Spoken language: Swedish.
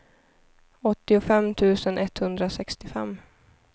åttiofem tusen etthundrasextiofem